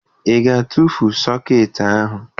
Ị ga-etufu sọkeetị ahụ?